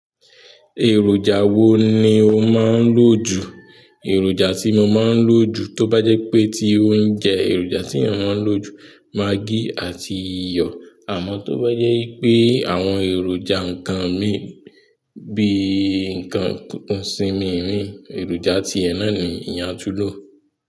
Èròjà wo ni o máa ń lò jù? Èròjà tí mo máa ń lò jù tó bá jẹ́ pé tí óunjẹ èròjà tí eeyan maa ń lò jù maggi àti iyọ̀. Àmọ́ tó bá jẹ́ wipé àwọn èròjà ǹnkan mii bí i ǹnkan kòkòńṣìn mi ni èròjà tí ẹ náà ni eeyan a tún lò.